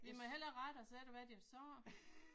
Vi må hellere rette os efter hvad de har sagt